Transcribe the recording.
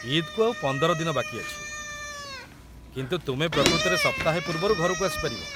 ଇଦ୍‌‌କୁ ଆଉ ୧୫ ଦିନ ବାକି ଅଛି, କିନ୍ତୁ ତୁମେ ପ୍ରକୃତରେ ସପ୍ତାହେ ପୂର୍ବରୁ ଘରକୁ ଆସିପାରିବ ।